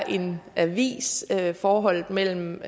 en avis er forholdet mellem